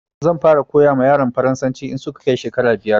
Zan fara koya wa yaran harshen Faransanci in su ka kai shekara biyar